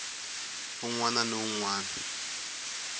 un wana ni un wana